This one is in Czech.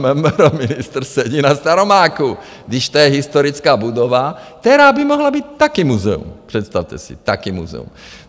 MMR - ministr sedí na Staromáku, když to je historická budova, která by mohla být také muzeum, představte si, také muzeum.